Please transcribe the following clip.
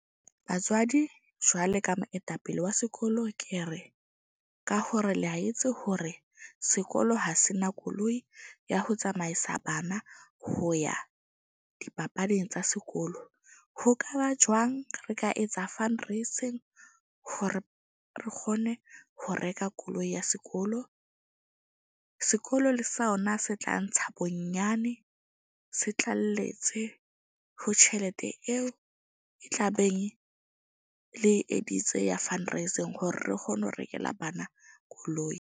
Batswadi jwalo ka moetapele wa sekolo ke re, ka hore le a etse hore sekolo ha se na koloi ya ho tsamaisa bana ho ya dipapading tsa sekolo ho ka ba jwang? Re ka etsa fundraising hore re kgone ho reka koloi ya sekolo. Sekolo le sona se tla ntsha bonyane se tlaleletse ho tjhelete eo e tla beng le editse ya fundraising. Hore re kgone ho rekela bana koloi.